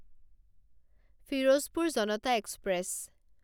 Ferozepur Janata express